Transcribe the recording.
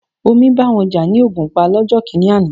Omi bá wọn jà ní Ògùnpa lọ́jọ́ kìíní àná.